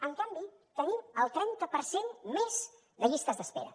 en canvi tenim el trenta per cent més de llistes d’espera